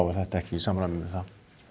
er þetta ekki í samræmi við það